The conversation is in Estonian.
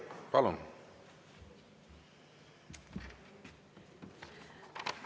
Palun!